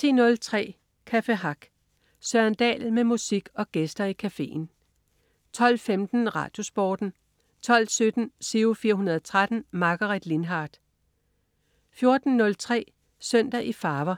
10.03 Café Hack. Søren Dahl med musik og gæster i cafeen 12.15 RadioSporten 12.17 Giro 413. Margaret Lindhardt 14.03 Søndag i farver.